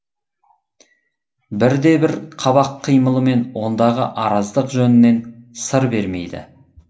бірде бір қабақ қимылымен ондағы араздық жөнінен сыр бермейді